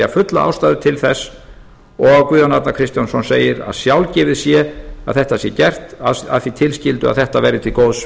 fulla ástæðu til þess og guðjón arnar kristjánsson segir að sjálfgefið sé að þetta sé gert að því tilskildu að þetta verði til góðs